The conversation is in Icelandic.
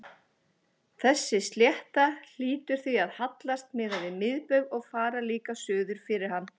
Þessi slétta hlýtur því að hallast miðað við miðbaug og fara líka suður fyrir hann.